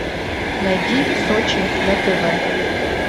найди сочи на тв